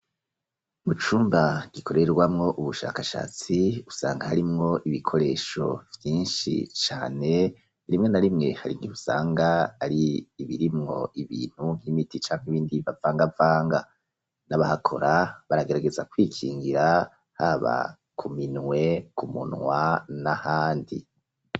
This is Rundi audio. Mu cumba gikorerwamwo ubushakashatsi, usanga harimwo ibikoresho vyinshi cane, rimwe na rimwe, hari igihe usanga ari ibirimwo ibintu, nk'imiti canke ibindi bavangavanga; n'abahakora, baragerageza kwikingira haba ku minwe, ku munwa n'ahandi.